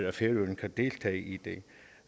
at færøerne kan deltage i det